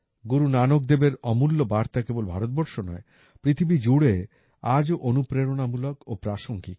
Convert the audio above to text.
গুরু নানক দেবের অমূল্য বার্তা কেবল ভারতবর্ষ নয় পৃথিবী জুড়ে আজও অনুপ্রেরণামূলক ও প্রাসঙ্গিক